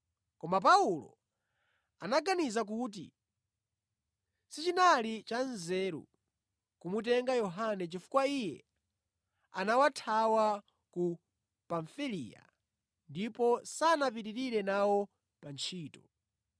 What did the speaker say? Koma Paulo anaganiza kuti sichinali cha nzeru kumutenga Yohane chifukwa iye anawathawa ku Pamfiliya ndipo sanapitirire nawo pa ntchito.